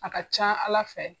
A ka ca Ala fɛ